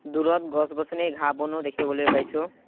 দূৰত গছ-গছনি ঘাঁহ-বনো দেখিবলৈ পাইছোঁ।